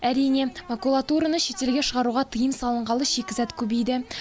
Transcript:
әрине макулатураны шетелге шығаруға тыйым салынғалы шикізат көбейді